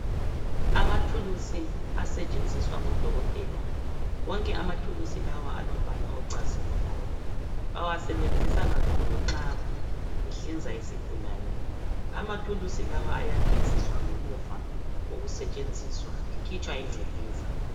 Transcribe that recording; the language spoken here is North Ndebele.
Amathuluzi asetshenziswa ngodokotela. Wonke amathuluzi lawa alombala ocazimulayo. Bawasebenzisa kakhulu nxa behlinza isigulane. Amathuluzi lawa ayageziswa ngemuva kokusetshenziswa ekhitshwa ingcekeza.